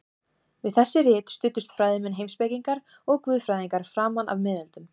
Við þessi rit studdust fræðimenn, heimspekingar og guðfræðingar framan af miðöldum.